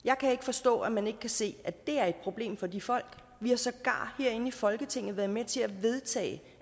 jeg kan ikke forstå at man ikke kan se at det er et problem for de folk vi har sågar herinde i folketinget været med til at vedtage